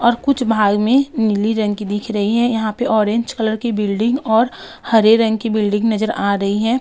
और कुछ बाहर में नीली रंग की दिख रही है। यहाँ पर ऑरेंज कलर की बिल्डिंग और हरे रंग की बिल्डिंग नजर आ रही हैं।